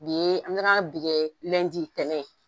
Bi ye an gan ga bi kɛ ntɛnɛn ye.